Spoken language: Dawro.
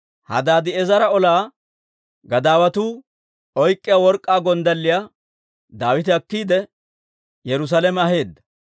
Hadaadi'eezera ola gadaawatuu oyk'k'iyaa work'k'aa gonddalliyaa Daawite akkiide, Yerusaalame aheedda.